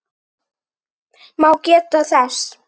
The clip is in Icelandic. má geta þess